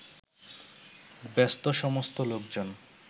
ব্যস্তসমস্ত লোকজন